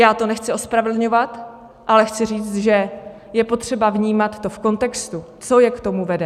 Já to nechci ospravedlňovat, ale chci říct, že je potřeba vnímat to v kontextu, co je k tomu vede.